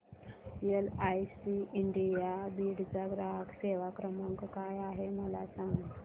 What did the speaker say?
LIC India Beed चा ग्राहक सेवा क्रमांक काय आहे मला सांग